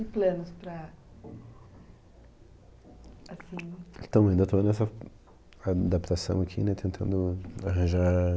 E planos para... Assim... Também, ainda estou nessa adaptação aqui, né, tentando arranjar...